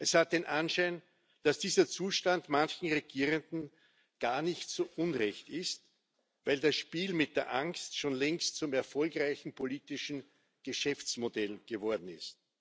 Es hat den Anschein, dass dieser Zustand manchen Regierenden gar nicht so unrecht ist, weil das Spiel mit der Angst schon längst zum erfolgreichen politischen Geschäftsmodell geworden ist.